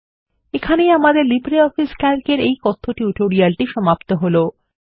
এইখানেই আমাদের LibreOffice Calc এর এই কথ্য টিউটোরিয়ালটি সমাপ্ত হলো